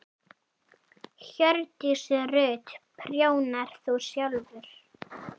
Hjördís Rut: Prjónar þú sjálfur?